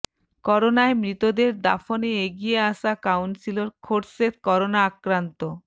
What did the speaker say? করোনায় মৃতদের দাফনে এগিয়ে আসা কাউন্সিলর খোরশেদ করোনা আক্রান্ত